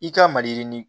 I ka maliyirinin